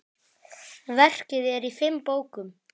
Verkið er í fimm bókum.